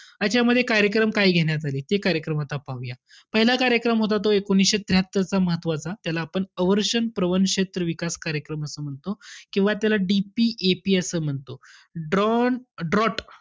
यांच्यामध्ये कार्यक्रम काय घेण्यात आले? ते कार्यक्रम आता पाहूया. पहिला कार्यक्रम होता तो एकोणीसशे त्र्याहात्तरचा महत्वाचा. त्याला आपण अवर्षण प्रवण विकास क्षेत्र विकास कार्यक्रम असं म्हणतो. किंवा त्याला DPAP असं म्हणतो. Drawn draught,